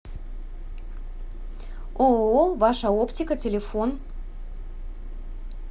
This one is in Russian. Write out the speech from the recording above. ооо ваша оптика телефон